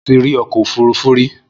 Mo ti rí ọkọ òfúrufú rí.